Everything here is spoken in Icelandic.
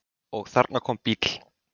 Og þarna kom bíll.